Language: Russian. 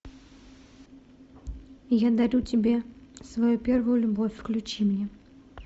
я дарю тебе свою первую любовь включи мне